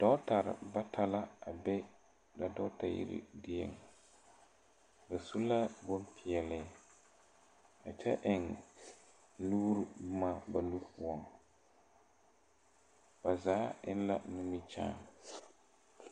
Dɔɔtarre bata la a be ba dɔɔta yiri dieŋ ba su ka bonpeɛɛle a kyɛ eŋ nuure bomma ba nu poɔŋ bazaa eŋ la nimikyaane.